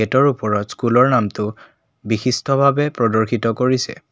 গেটৰ ওপৰত স্কুলৰ নামটো বিশিষ্টভাবে প্ৰদৰ্শিত কৰিছে।